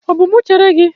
Ọ bụ mụ chere gị?